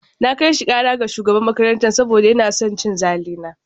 Na kai shi kara ga shugaban makarantar saboda yana son cin zali na.